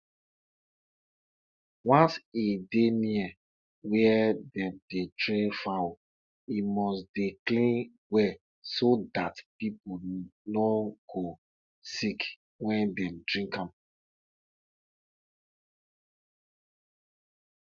e get one time wey i hear one story of donkey wey cry because of places for garden wey dem never fertilize